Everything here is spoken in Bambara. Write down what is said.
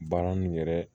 Baara nin yɛrɛ